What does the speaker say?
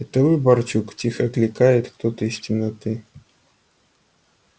это вы барчук тихо окликает кто-то из темноты